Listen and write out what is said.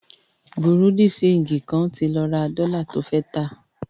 Bùrúdì ṣẹegì kan ti lọ ra dọ́lá to fẹ́ tà.